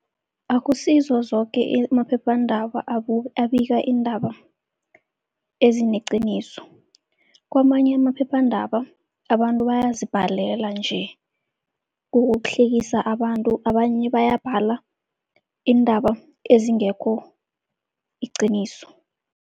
Akusizo zoke amaphephandaba abika iindaba ezineqiniso. Kwamanye amaphephandaba abantu bayazibhalela nje ukuhlekisa abantu, abanye bayabhala iindaba ezingekho liqiniso.